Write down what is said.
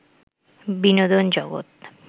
বিনোদন জগত